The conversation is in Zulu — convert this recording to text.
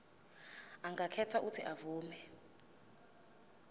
angakhetha uuthi avume